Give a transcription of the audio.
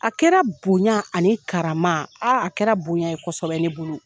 A kɛra bonya ani karama , a kɛra bonya ye kosɛbɛ ne bolo.